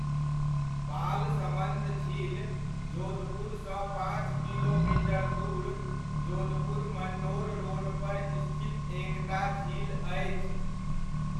बालसमन्द झील जोधपुरसँ पाँच किलोमीटर दूर, जोधपुर मन्डोर रोडपर स्थित एकटा झील अछि।